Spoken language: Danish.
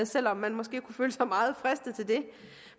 selv om man måske kunne føle sig meget fristet til det